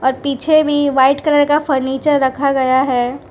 और पीछे भी व्हाइट कलर का फर्नीचर रखा गया है।